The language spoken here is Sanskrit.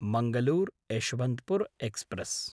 मङ्गलूर्–यश्वन्त्पुर् एक्स्प्रेस्